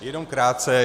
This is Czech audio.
Jenom krátce.